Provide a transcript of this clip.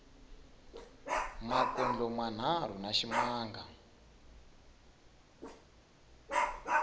makondlo manharhu na ximanga